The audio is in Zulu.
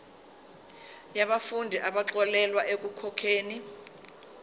yabafundi abaxolelwa ekukhokheni